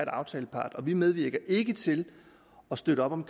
aftalepart og vi medvirker ikke til at støtte op om